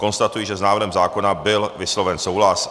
Konstatuji, že s návrhem zákona byl vysloven souhlas.